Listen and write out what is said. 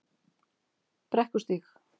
Brekkustíg